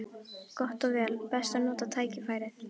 Gott og vel: best að nota tækifærið.